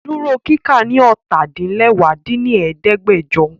Duro kika ni ọ́ta-din-lẹwá dín ní ẹ̀ẹ́dẹ́gbẹ́jọ!